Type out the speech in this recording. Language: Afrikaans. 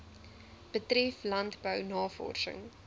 betref landbou navorsing